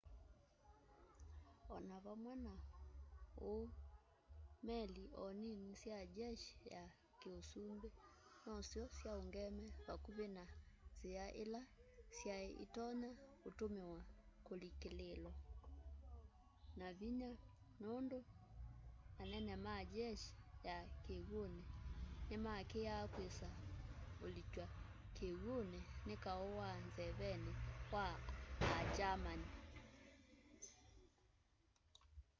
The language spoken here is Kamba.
o na vamwe na uu meli o nini sya jeshi ya kiusumbi nosyo syaungeemw'e vakuvi na nzia ila syai itonya utumiwa kulikililwa na vinya nundu anene ma jeshi ya kiw'uni ni maakiaa kwisa ulikywa kiw'uni ni kau wa nzeveni wa a german